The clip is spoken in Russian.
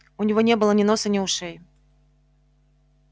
у него не было ни носа ни ушей